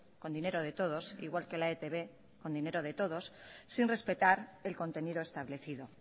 con dinero de todos igual que la etb con dinero de todos sin respetar el contenido establecido